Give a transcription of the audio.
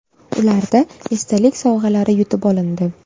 Ularda esdalik sovg‘alari yutib olindi.